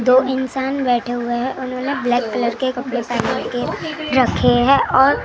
दो इंसान बैठे हुए हैं उन्होंने ब्लैक कलर के पहन के रखे है और आजू।